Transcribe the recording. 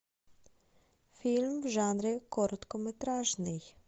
фильм в жанре короткометражный